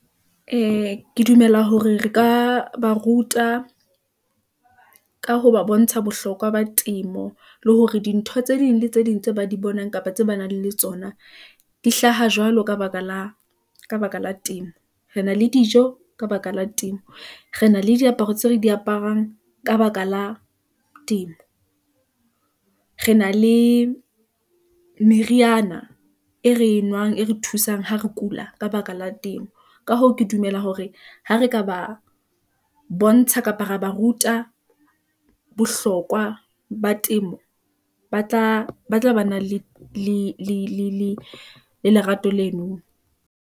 Ee, ke dumela hore re ka ba ruta , ka ho ba bontsha bohlokwa ba temo, le hore dintho tse ding le tse ding tse ba di bonang, kapa tse ba nang le tsona , di hlaha jwalo ka baka la temo , re na le dijo ka baka la temo, re na le diaparo tseo re di aparang ka baka la temo , re na le meriana e re e nwang, e re thusang ha re kula, ka baka la temo, ka hoo, ke dumela hore ha re ka ba bontsha, kapa ra ba ruta bohlokwa ba temo , ba tla ba na le lerato leno.